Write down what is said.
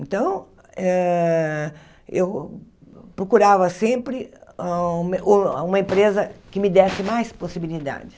Então, ah eu procurava sempre um uma empresa que me desse mais possibilidades.